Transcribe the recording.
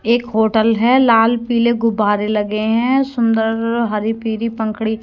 एक होटल है लाल पीले गुब्बारे लगे हैं सुंदर हरी पीली पंखुड़ी--